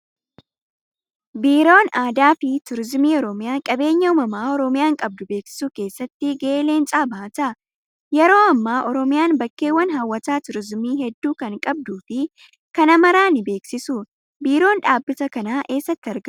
Biiroon aadaa fi turizimii oromiyaa qabeenya uumamaa oromiyaan qabdu beeksisuu keessatti gahee leencaa bahata. Yeroo ammaa oromiyaan bakkeewwan hawwata turizimii hedduu kan qabduu fi kana maraa ni beeksisuu. Biiroon dhaabbata kanaa eessatti argamaa?